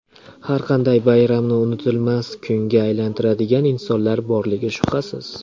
Har qanday bayramni unutilmas kunga aylantiradigan insonlar borligi shubhasiz.